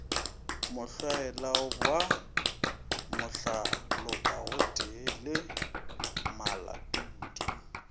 mohlwaela wa mahlalopagotee le malatodi